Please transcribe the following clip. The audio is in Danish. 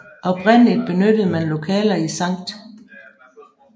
Oprindeligt benyttede man lokaler i Sct